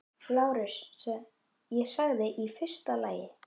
LÁRUS: Ég sagði: í fyrsta lagi.